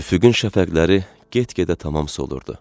Üfüqün şəfəqləri get-gedə tamam solurdu.